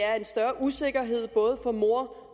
er en større usikkerhed både for moren